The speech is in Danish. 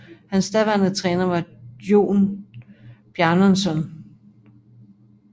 Hans daværende træner var Jón Bjarnason